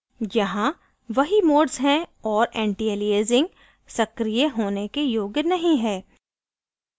यहाँ वही modes हैं और antialiasing सक्रीय होने के योग्य नहीं है